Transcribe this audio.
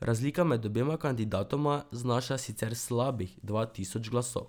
Razlika med obema kandidatoma znaša sicer slabih dva tisoč glasov.